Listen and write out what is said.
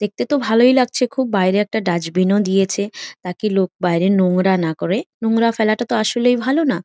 দেখতে তো ভালোই লাগছে খুব। বাইরে একটা ডাস্টবিন ও দিয়েছে যাতে লোক নোংরা না করে নোংরা ফেলা তো তো আসলেই ভালো না।